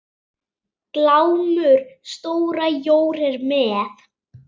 Glámu stóra jór er með.